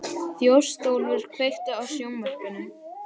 Þjóstólfur, kveiktu á sjónvarpinu.